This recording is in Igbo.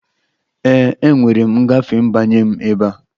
Ee, enwere m ngafe ịbanye m ebe a